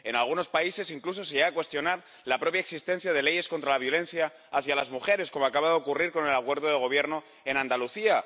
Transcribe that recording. En algunos países incluso se llega a cuestionar la propia existencia de leyes contra la violencia hacia las mujeres, como acababa de ocurrir con el acuerdo de gobierno en Andalucía.